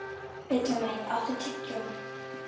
Villimey, áttu tyggjó?